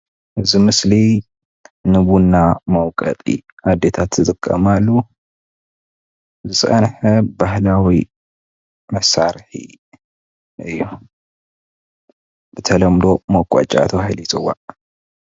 ኣብዚ ምስሊ ንቡና መውቀጢ ኣዴታትና ዝጥቀማሉ ዝፀንሐ ባህላዋ መሳርሒ እዪ። ብተለምዶ መውቀጫ ተባሂሉ ይፅዋዕ።